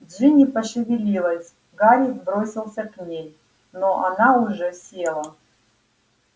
джинни пошевелилась гарри бросился к ней но она уже села